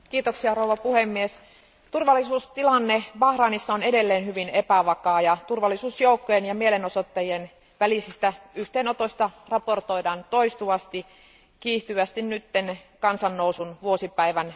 Arvoisa puhemies, turvallisuustilanne Bahrainissa on edelleen hyvin epävakaa ja turvallisuusjoukkojen ja mielenosoittajien välisistä yhteenotoista raportoidaan toistuvasti ja kiihtyvästi nyt kansannousun vuosipäivän,